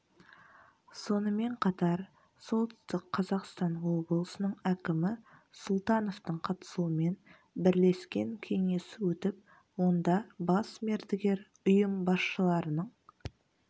сонымен қатар солтүстік қазақстан облысының әкімі сұлтановтың қатысуымен бірлескен кеңес өтіп онда бас мердігер ұйым басшыларының